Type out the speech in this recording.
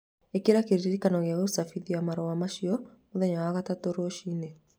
Ĩkĩra kĩririkano gĩa gũcabithia marũa macio mũthenya wa gatatũ rũcinĩ